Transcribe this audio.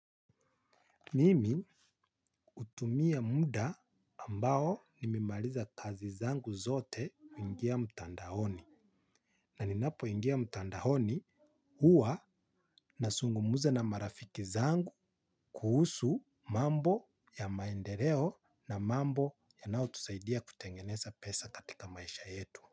Mimi hutumia muda ambao nimimaliza kazi zangu zote kuingia mtandaoni. Na ninapo ingia mtandaoni huwa na zungumuza na marafiki zangu kuhusu mambo ya maendeleo na mambo yanayo tuzaidia kutengeneza pesa katika maisha yetu.